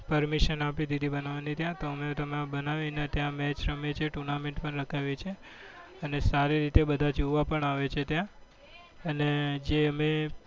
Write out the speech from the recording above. permision આપી દીધી બનાવવાની ત્યાં તો અમે ત્યાં બનાવી તો match રમીએ છીએ. tournament પણ રખાવીએ છીએ અને સારી રીતે બધા જોવા પણ આવે છે. ત્યાં અને જે અમે